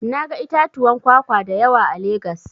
Na ga itatuwan kwakwa da yawa a Legas.